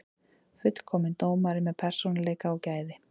Fullkominn dómari með persónuleika og gæði.